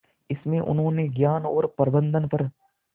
इसमें उन्होंने ज्ञान और प्रबंधन पर